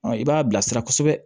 i b'a bilasira kosɛbɛ